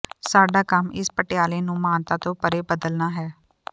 ਸਾਡਾ ਕੰਮ ਇਸ ਪਟਿਆਲਾ ਨੂੰ ਮਾਨਤਾ ਤੋਂ ਪਰ੍ਹੇ ਬਦਲਣਾ ਹੈ